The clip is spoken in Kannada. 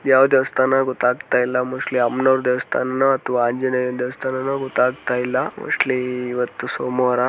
ಯಾವ ದೇವಸ್ಥಾನ ಗೊತ್ತಾಗ್ತಾ ಇಲ್ಲ ಮೋಸ್ಟ್ಲಿ ಅಮ್ಮನವರು ದೇವಸ್ಥಾನನೋ ಅಥವಾ ಆಂಜನೆಯನಾ ದೇವಸ್ಥಾನನೋ ಗೊತ್ತಾಗ್ತಾ ಇಲ್ಲ ಮೋಸ್ಟ್ಲಿ ಇವತ್ತು ಸೋಮವಾರ.